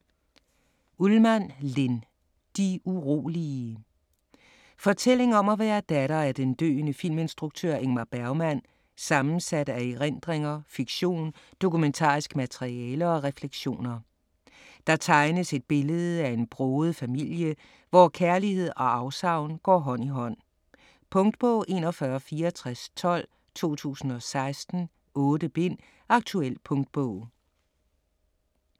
Ullmann, Linn: De urolige Fortælling om at være datter af den døende filminstruktør Ingmar Bergmann, sammensat af erindringer, fiktion, dokumentarisk materiale og refleksioner. Der tegnes et billede af en broget familie, hvor kærlighed og afsavn går hånd i hånd. Punktbog 416412 2016. 8 bind. Aktuel punktbog